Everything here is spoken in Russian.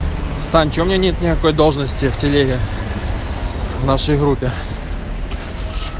сань чё у меня нет никакой должности в телеге в нашей группе